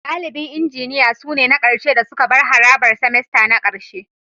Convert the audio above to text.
Dalibin Injiniya sune na ƙarshe da suka bar harabar semester na ƙarshe